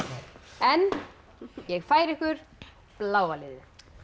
en ég færi ykkur bláa liðið